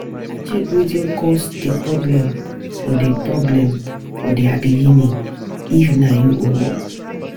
Check wetin cause di problem from di problem from di begining, if na you own up